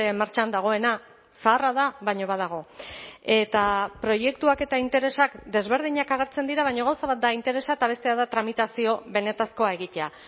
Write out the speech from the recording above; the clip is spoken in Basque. martxan dagoena zaharra da baina badago eta proiektuak eta interesak desberdinak agertzen dira baina gauza bat da interesa eta bestea da tramitazio benetakoa egitea